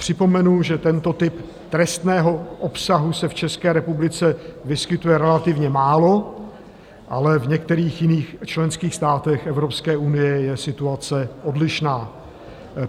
Připomenu, že tento typ trestného obsahu se v České republice vyskytuje relativně málo, ale v některých jiných členských státech Evropské unie je situace odlišná.